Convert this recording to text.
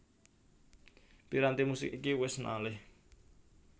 Piranti musik iki wis malih